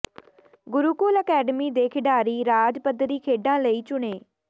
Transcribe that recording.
Gurukul academy ਦੇ ਖਿਡਾਰੀ ਰਾਜ ਪੱਧਰੀ ਖੇਡਾਂ ਲਈ ਚੁਣੇ